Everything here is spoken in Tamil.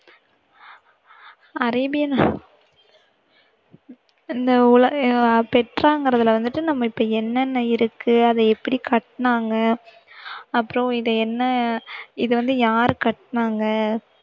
அரேபியா நா~ இந்த உலக பெட்ராங்கிறதுல வந்துட்டு நம்ம இப்போ என்ன என்ன இருக்கு? அதை எப்படி கட்டுனாங்க? அப்பறம் இது என்ன? இதை வந்து யாரு கட்டுனாங்க?